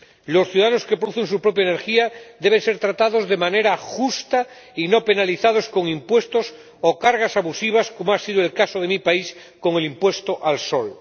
Los ciudadanos que producen su propia energía deben ser tratados de manera justa y no penalizados con impuestos o cargas abusivas, como ha sido el caso de mi país con el impuesto al sol.